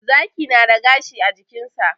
Zaki na da gashi a jikinsa.